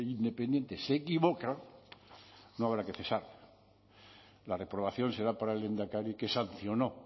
independiente se equivoca no habrá que cesar la reprobación será para el lehendakari que sancionó